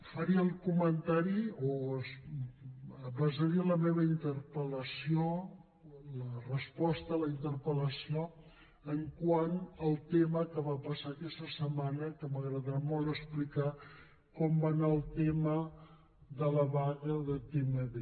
faré el comentari o basaré la meva interpel·lació la resposta a la interpel·lació quant al tema que va passar aquesta setmana que m’agradarà molt explicar com va anar el tema de la vaga de tmb